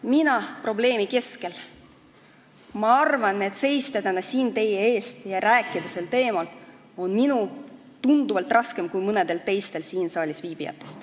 Mina probleemi keskel: ma arvan, et minul on täna teie ees seista ja sel teemal rääkida tunduvalt raskem kui mõnel teisel siin saalis viibijal.